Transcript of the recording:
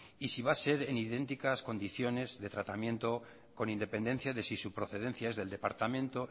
y si va a ser en idénticas condiciones de tratamiento con independencia de si su procedencia es del departamento